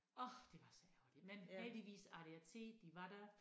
Orh det var så ærgerligt men heldigvis adac de var der